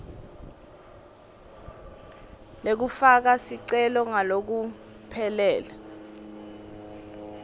lekufaka sicelo ngalokuphelele